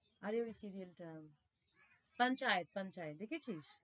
আরে ওই serial টা দেখেছিস?